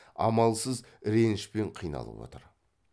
амалсыз ренішпен қиналып отыр